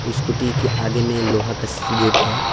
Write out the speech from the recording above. Scooty के आगे में लोहा का गेट है।